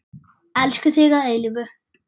Elskum þig að eilífu.